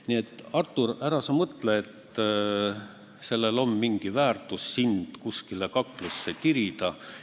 Nii et, Artur, ära sa mõtle, et sellel on mingi väärtus, kui sind kuskile kaklusse tirida.